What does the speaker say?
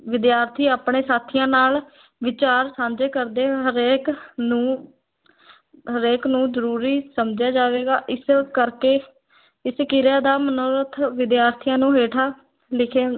ਵਿਦਿਆਰਥੀ ਆਪਣੇ ਸਾਥੀਆਂ ਨਾਲ ਵਿਚਾਰ ਸਾਂਝੇ ਕਰਦੇ ਹੋਏ ਹਰੇਕ ਨੂੰ ਹਰੇਕ ਨੂੰ ਜ਼ਰੂਰੀ ਸਮਝਿਆ ਜਾਵੇਗਾ, ਇਸ ਕਰਕੇ ਇਸ ਕਿਰਿਆ ਦਾ ਮਨੋਰਥ ਵਿਦਿਆਰਥੀਆਂ ਨੂੰ ਹੇਠਾਂ ਲਿਖੇ